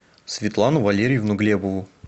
светлану валерьевну глебову